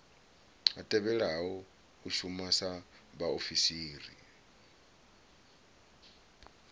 tevhelaho u shuma sa vhaofisiri